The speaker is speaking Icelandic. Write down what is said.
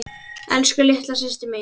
Elsku, litla systir mín.